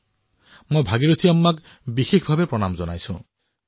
মই আজি বিশেষভাৱে ভাগিৰথী আম্মাক প্ৰণাম জনাইছো